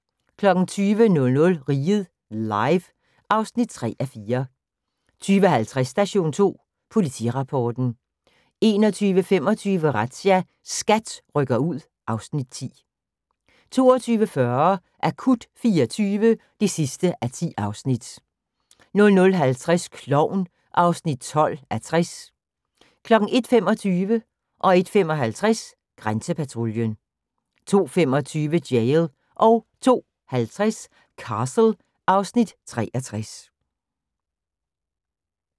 20:00: Riget Live (3:4) 20:50: Station 2 Politirapporten 21:25: Razzia – SKAT rykker ud (Afs. 10) 22:40: Akut 24 (10:10) 00:50: Klovn (12:60) 01:25: Grænsepatruljen 01:55: Grænsepatruljen 02:25: Jail 02:50: Castle (Afs. 63)